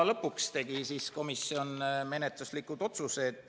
Lõpuks tegi komisjon menetluslikud otsused.